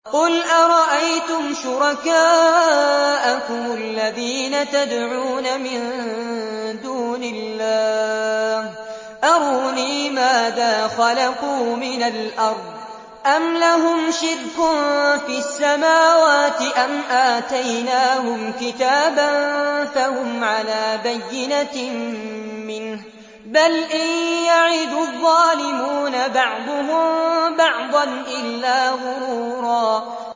قُلْ أَرَأَيْتُمْ شُرَكَاءَكُمُ الَّذِينَ تَدْعُونَ مِن دُونِ اللَّهِ أَرُونِي مَاذَا خَلَقُوا مِنَ الْأَرْضِ أَمْ لَهُمْ شِرْكٌ فِي السَّمَاوَاتِ أَمْ آتَيْنَاهُمْ كِتَابًا فَهُمْ عَلَىٰ بَيِّنَتٍ مِّنْهُ ۚ بَلْ إِن يَعِدُ الظَّالِمُونَ بَعْضُهُم بَعْضًا إِلَّا غُرُورًا